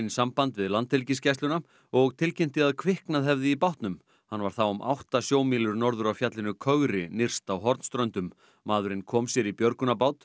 samband við Landhelgisgæsluna og tilkynnti að kviknað hefði í bátnum hann var þá um átta sjómílur norður af fjallinu kögri nyrst á Hornströndum maðurinn kom sér í björgunarbát